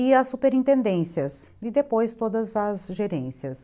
E as superintendências e depois todas as gerências.